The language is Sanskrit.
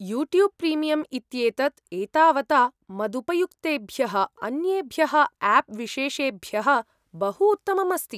यूट्यूब् प्रीमियम् इत्येतत् एतावता मदुपयुक्तेभ्यः अन्येभ्यः आप् विशेषेभ्यः बहु उत्तमम् अस्ति।